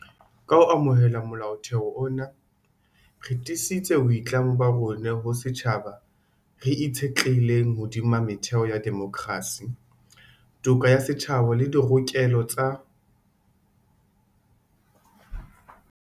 Ka ho amohela Molaotheo ona, re tiisitse boitlamo ba rona ho setjhaba re itshetlehileng hodima metheo ya demokrasi, toka ya setjhaba le dirokelo tsa.